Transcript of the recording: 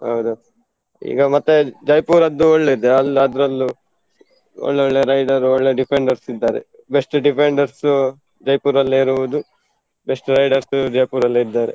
ಹೌದಾ, ಈಗ ಮತ್ತೆ Jaipur ದ್ದು ಒಳ್ಳೆದೆ, ಅದರಲ್ಲೂ ಒಳ್ಳೆ ಒಳ್ಳೆ rider ಒಳ್ಳೆ defenders ಇದ್ದಾರೆ. best defenders Jaipur ಅಲ್ಲೇ ಇರುವುದು, best riders Jaipur ಅಲ್ಲೇ ಇದ್ದಾರೆ.